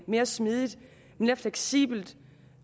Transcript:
mere smidigt og mere fleksibelt og